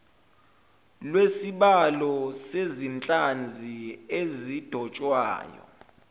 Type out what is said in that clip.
lwesibalo sezinhlanzi ezidotshwayo